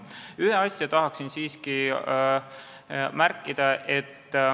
Ühte asja tahan siiski märkida.